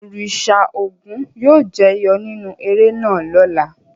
Òrìṣà Ògún yóò jẹyọ nínú eré náà lọ́la.